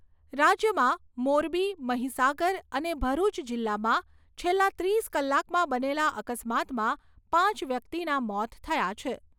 રાજ્યમાં મોરબી, મહિસાગર અને ભરૂચ જિલ્લામાં છેલ્લા ત્રીસ કલાકમાં બનેલા અકસ્માતમાં પાંચ વ્યક્તિના મોત થયા છે.